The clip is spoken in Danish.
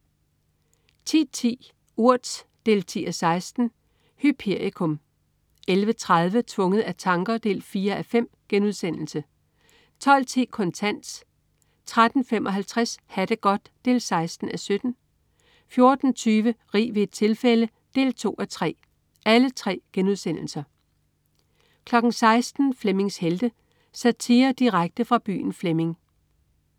10.10 Urt 10:16. Hyperikum 11.30 Tvunget af tanker 4:5* 12.10 Kontant* 13.55 Ha' det godt 16:17* 14.20 Rig ved et tilfælde 2:3* 16.00 Flemmings Helte. Satire direkte fra byen Flemming